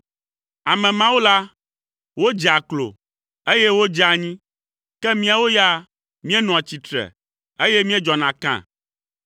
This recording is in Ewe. Ame mawo la, wodzea klo, eye wodzea anyi, ke míawo ya, míenɔa tsitre, eye míedzɔna kã.